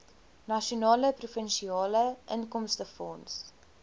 nasionale provinsiale inkomstefonds